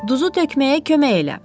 Duzu tökməyə kömək elə.